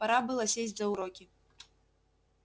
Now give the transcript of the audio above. пора было сесть за уроки